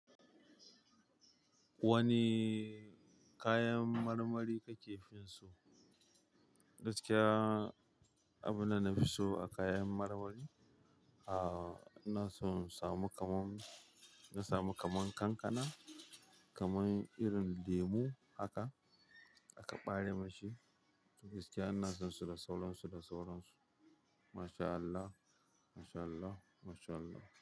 Wani kayan marmari ka ke fi so? Gaskiya abunda na fi so a kayan marmari, a ina so in samu kaman, na samu kaman kankana, kaman irin lemu haka aka bare min shi. Gaskiya ina son su da sauran su da sauran su.